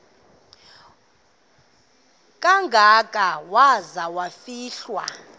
kangaka waza kufihlwa